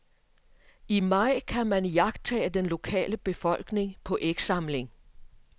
I maj kan man iagttage den lokale befolkning på ægsamling.